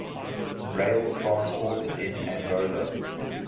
rail transport in angola